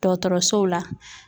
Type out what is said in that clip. Dɔgɔtɔrɔsow la